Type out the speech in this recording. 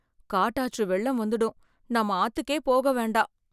காட்டாற்று வெள்ளம் வந்துடும், நாம ஆத்துக்கே போக வேண்டாம்.